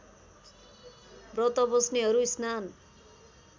व्रत बस्नेहरू स्नान